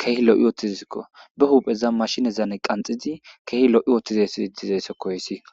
keehi lo7i ooththizzikko ba huupheza mashinezane qanxidi keehi lo7i oothtizesi didizeyssekoyssi